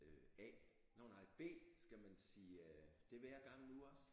Øh A nå nej B skal man sige øh det hver gang nu også?